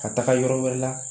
Ka taga yɔrɔ wɛrɛ la